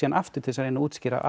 aftur til að útskýra